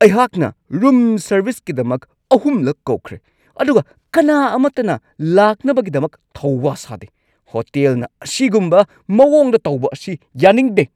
ꯑꯩꯍꯥꯛꯅ ꯔꯨꯝ ꯁꯔꯕꯤꯁꯀꯤꯗꯃꯛ ꯑꯍꯨꯝꯂꯛ ꯀꯧꯈ꯭ꯔꯦ, ꯑꯗꯨꯒ ꯀꯅꯥ ꯑꯃꯠꯇꯅ ꯂꯥꯛꯅꯕꯒꯤꯗꯃꯛ ꯊꯧ-ꯋꯥ ꯁꯥꯗꯦ ! ꯍꯣꯇꯦꯜꯅ ꯑꯁꯤꯒꯨꯝꯕ ꯃꯋꯣꯡꯗ ꯇꯧꯕ ꯑꯁꯤ ꯌꯥꯅꯤꯡꯗꯦ ꯫